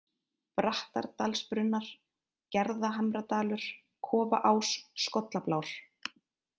Brattardalsbrunnar, Gerðhamradalur, Kofaás, Skollablár